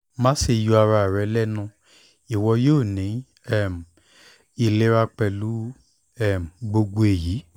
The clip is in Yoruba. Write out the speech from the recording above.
maṣe yọ ara rẹ lẹnu iwọ yoo ni um ilera pẹlu um gbogbo eyi